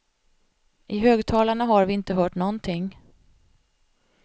I högtalarna har vi inte hört någonting.